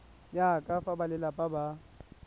ya ka fa balelapa ba